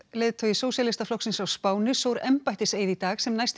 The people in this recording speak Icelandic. leiðtogi Sósíalistaflokksins á Spáni sór embættiseið í dag sem næsti